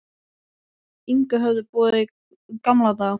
Inga höfðu búið í gamla daga.